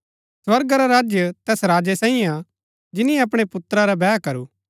स्वर्गा रा राज्य तैस राजै साईयें हा जिनी अपणै पुत्रा रा बैह करू